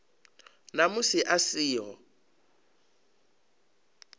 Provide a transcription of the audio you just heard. na musi a si ho